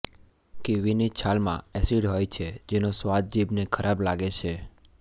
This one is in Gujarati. કીવીની છાલમાં એસિડ હોય છે જેનો સ્વાદ જીભને ખરાબ લાગે છે